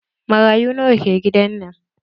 Marayu nawa ke gidan nan?